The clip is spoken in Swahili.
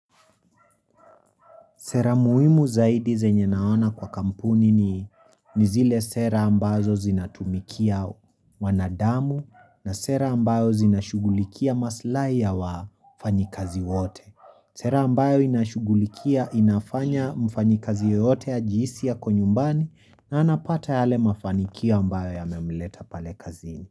Sera muhimu zaidi zenye naona kwa kampuni ni zile sera ambazo zinatumikia mwanadamu na sera ambayo zinashugulikia maslahi ya wafanyakazi wote. Sera ambayo inashugulikia inafanya mfanyakazi yoyote ajihisi yuko nyumbani na anapata yale mafanikio ambayo yamemleta pale kazini.